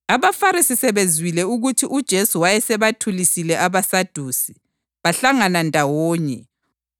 Omunye wabo owayeyisazi somthetho wamlinga ngombuzo wathi,